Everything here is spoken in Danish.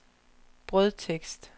brødtekst